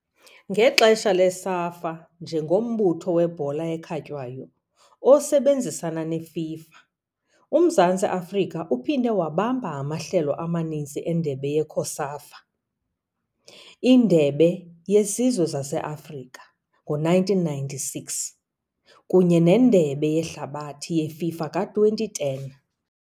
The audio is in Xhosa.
Ngexesha le-SAFA njengombutho webhola ekhatywayo osebenzisana ne-FIFA, uMzantsi Afrika uphinde wabamba amahlelo amaninzi eNdebe ye-COSAFA, iNdebe yeZizwe zase-Afrika ngo -1996 kunye neNdebe yeHlabathi yeFIFA ka-2010.